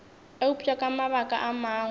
eupša ka mabaka a mangwe